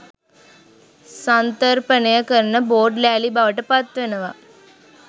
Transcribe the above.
සන්තර්පණය කරන බෝඩ් ලෑලි බවට පත්වෙනව.